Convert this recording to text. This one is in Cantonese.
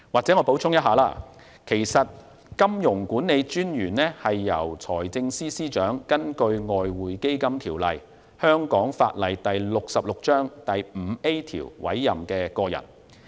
讓我補充一下，金融管理專員是由財政司司長根據《外匯基金條例》第 5A 條委任的個人。